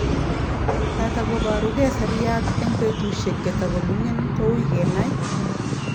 yatagop arugei seriat eng petushek chetagomingin kouii kena